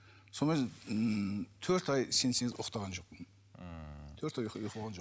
сол кезде ммм төрт ай сенсеңіз ұйықтаған жоқпын ммм төрт ай ұйқы болған жоқ